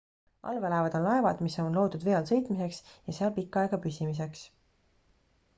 allveelaevad on laevad mis on loodud vee all sõitmiseks ja seal pikka aega püsimiseks